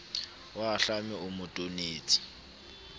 o ahlame o mo tonetse